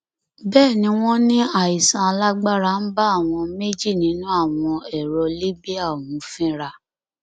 bẹẹ ni wọn ní àìsàn alágbára ń bá àwọn méjì nínú àwọn ẹrọ libya ọhún fínra